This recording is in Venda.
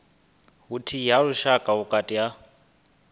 vhuthihi ha lushaka vhukati ha